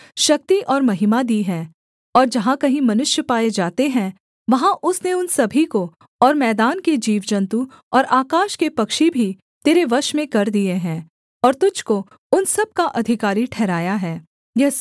और जहाँ कहीं मनुष्य पाए जाते हैं वहाँ उसने उन सभी को और मैदान के जीवजन्तु और आकाश के पक्षी भी तेरे वश में कर दिए हैं और तुझको उन सब का अधिकारी ठहराया है यह सोने का सिर तू ही है